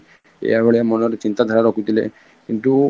ଏଇୟା ଭଳିଆ ମନରେ ଚିନ୍ତାଧାରା ରଖୁଥିଲେ କିନ୍ତୁ